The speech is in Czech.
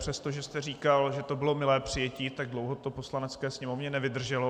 Přestože jste říkal, že to bylo milé přijetí, tak dlouho to Poslanecké sněmovně nevydrželo.